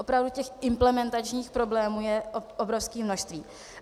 Opravdu těch implementačních problémů je obrovské množství.